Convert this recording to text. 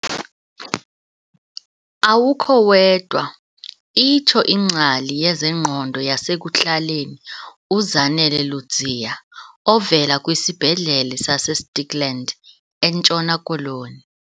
"Awukho wedwa," itsho ingcali yezengqondo yasekuhlaleni uZanele Ludziya ovela kwiSibhedlele saseStikland eNtshona Koloni.